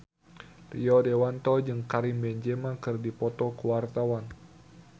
Rio Dewanto jeung Karim Benzema keur dipoto ku wartawan